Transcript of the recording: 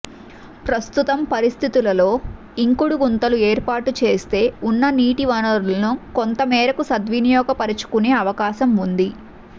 ప్రస్తుతం పరిస్థితులలో ఇంకుడు గుంతలు ఏర్పాటు చేస్తే ఉన్న నీటి వనరులను కొంత మేరకు సద్వినియోగ పరుచుకునే అవకాశం ఉంది